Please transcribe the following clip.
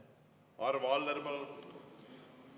Arvo Aller, palun!